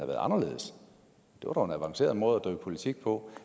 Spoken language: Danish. været anderledes det var dog en avanceret måde at drive politik på